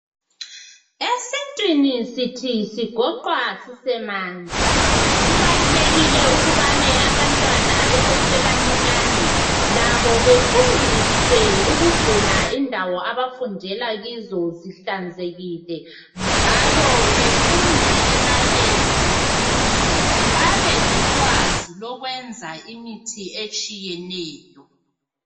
Esintwini sithi sigoqwa sisemanzi, kuqakathekile ukubana abantwana bafundiswe besasebancane ukuba kuqakathekile ukugcina lapho abafundela khona kuhlanzekile njalo befunde lemalebhu ukwenza imisebenzi etshiyeneyo.